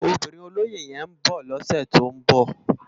Óbirin ólóyé yèn n bò lòsè tó n bò